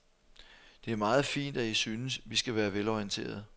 Det er meget fint, at I synes, vi skal være velorienterede.